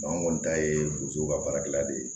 an kɔni ta ye furuso ka baarakɛla de ye